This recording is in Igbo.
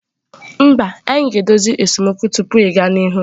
Mba, anyị ga-edozi esemokwu tupu ịga n'ihu.